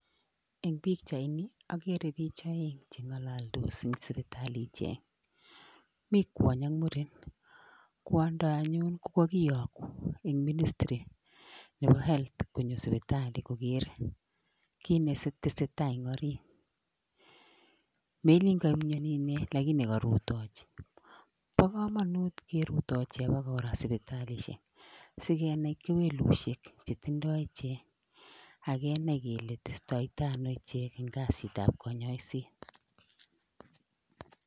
Eng' pikchaini akere biich oeng' cheng'ololdos eng' sipitali ichek mi kwony ak muren kwondo anyun ko kakiyoku eng' ministry nebo health konyo sipitali koker kiit netesei tai eng' orit melin kaimyoni ine lakini karutochi bo komonut kerutuchi akekora sipitalishek silenai kewelushiek chetindoi ichek akenai kele testoi tai ano ichek eng' kasitab konyoishet